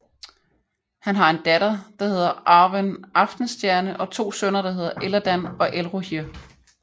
Han har en datter der hedder Arwen Aftenstjerne og to sønner der hedder Elladan og Elrohir